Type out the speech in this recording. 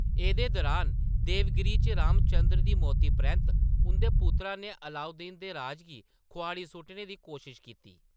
एह्‌दे दुरान, देवगिरी च, रामचंद्र दी मौती परैंत्त, उंʼदे पुत्तार ने अलाउद्दीन दे राज गी खोआड़ी सुट्टने दी कोशश कीती।